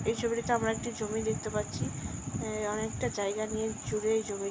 এই ছবিটিতে আমরা একটি জমি দেখতে পাচ্ছি অ্যা অনেকটা জায়গা নিয়ে জুড়ে এই জমি --